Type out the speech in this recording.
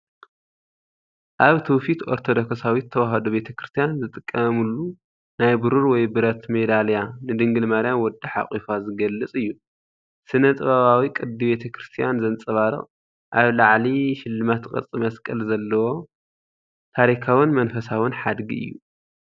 ኣብ ትውፊት ኦርቶዶክሳዊት ተዋህዶ ቤተ ክርስቲያን ዝጥቀሙሉ ናይ ብሩር ወይ ብረት ሜዳልያ፣ ንድንግል ማርያም ወዳ ሓቑፋ ዝገልጽ እዩ። ስነ-ጥበባዊ ቅዲ ቤተ ክርስቲያን ዘንጸባርቕ ፣ኣብ ላዕሊ ሽልማት ቅርጺ መስቀል ዘለዎ ታሪካውን መንፈሳውን ሓድጊ እዩ።